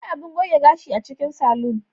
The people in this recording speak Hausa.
Akwai abun goge gashi a cikin salon.